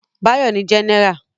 Báyọ̀ ni Jẹ́nẹ́rà